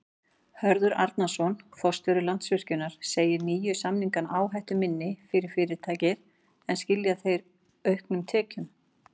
Hörður Arnarson, forstjóri Landsvirkjunar segir nýju samningana áhættuminni fyrir fyrirtækið en skila þeir auknum tekjum?